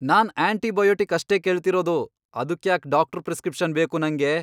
ನಾನ್ antibiotic ಅಷ್ಟೇ ಕೇಳ್ತಿರೋದು! ಅದುಕ್ಯಾಕ್ ಡಾಕ್ಟ್ರು ಪ್ರಿಸ್ಕ್ರಿಪ್ಷನ್ ಬೇಕು ನಂಗೆ?